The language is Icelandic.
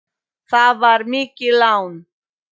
Það var mikið lán.